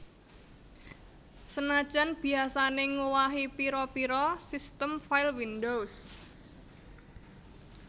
Senajan biyasané ngowahi pira pira sistem file windows